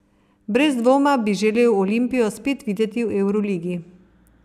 Brez dvoma bi želel Olimpijo spet videti v evroligi.